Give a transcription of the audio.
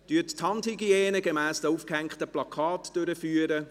Führen Sie die Handhygiene gemäss den aufgehängten Plakaten durch.